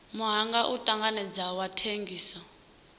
muhanga u tanganedzeaho wa thengiso